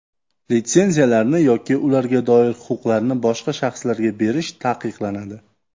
Litsenziyalarni yoki ularga doir huquqlarni boshqa shaxslarga berish taqiqlanadi.